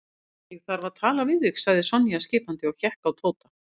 Ég þarf að tala við þig sagði Sonja skipandi og hékk á Tóta.